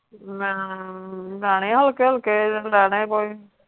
ਮੈਂ ਲੈਣੇ ਹਲਕੇ ਹਲਕੇ ਲੈਣੇ ਕੋਈ,